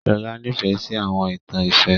Shola nìfẹ si àwọn ìtan ìfẹ.